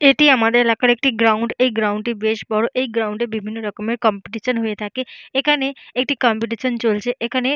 এটি আমাদের এলাকার একটি গ্রাউন্ড এই গ্রাউন্ড -টি বেশ বড় এই গ্রাউন্ডে বিভিন্ন রকমের কম্পিটিশন হয়ে থাকে এখানে একটি কম্পিটিশন চলছে। এখানে--